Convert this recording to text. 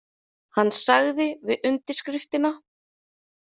Hann sagði við undirskriftina: